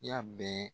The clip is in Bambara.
I y'a bɛɛ